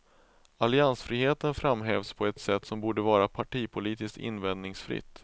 Alliansfriheten framhävs på ett sätt som borde vara partipolitiskt invändningsfritt.